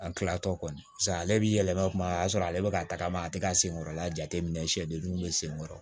An kilatɔ kɔni paseke ale bi yɛlɛma kuma o y'a sɔrɔ ale bi ka tagama a te ka sen kɔrɔla jateminɛ siyɛdenninw bɛ sen kɔrɔ